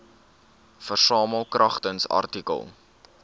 versamel kragtens artikel